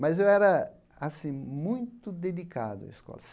Mas eu era, assim, muito dedicado à escola.